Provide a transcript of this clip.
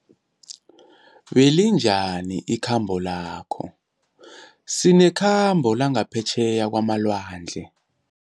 Belinjani ikhambo lakho, sinekhambo langaphetjheya kwamalwandle.